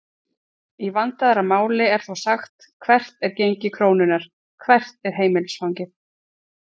Í vandaðra máli er þó sagt hvert er gengi krónunnar?, hvert er heimilisfangið?